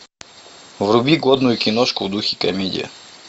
вруби годную киношку в духе комедия